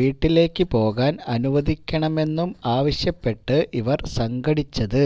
വീട്ടിലേക്ക് പോകാൻ അനുവദിക്കണമെന്നും ആവശ്യപ്പെട്ട് ഇവർ സംഘടിച്ചത്